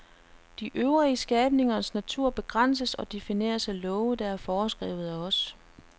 De øvrige skabningers natur begrænses og defineres af love der er foreskrevet af os.